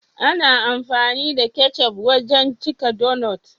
Ana amfani da ketchup wajan cika dunut.